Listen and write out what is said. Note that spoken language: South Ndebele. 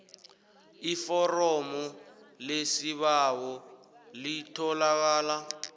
iforomo lesibawo litholakala